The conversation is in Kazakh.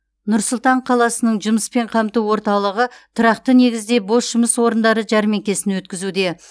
нұр сұлтан қаласының жұмыспен қамту орталығы тұрақты негізде бос жұмыс орындары жәрмеңкесін өткізуде